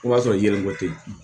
O b'a sɔrɔ yiri ko te yen